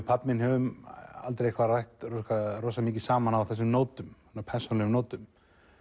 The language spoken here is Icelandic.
pabbi minn höfum aldrei rætt mikið saman á þessum nótum persónulegu nótum